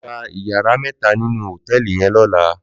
Lò gbá iyàrá mètá ninú hótèlí yèn lòlá